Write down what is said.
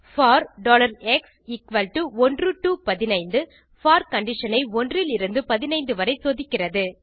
bore x 1 to 15 for condition i 1 லிருந்து 15 வரை சோதிக்கிறது